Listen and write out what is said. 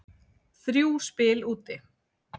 Þrjú spil úti.